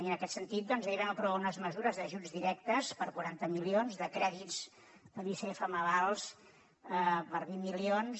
i en aquest sentit doncs ahir vam aprovar unes mesures d’ajuts directes per quaranta milions de crèdits de l’icf en avals per vint milions